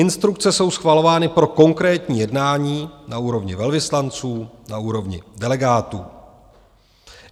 Instrukce jsou schvalovány pro konkrétní jednání na úrovni velvyslanců, na úrovni delegátů.